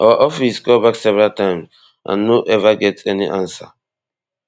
our office call back several times and no ever get any ansa